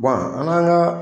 an kan ka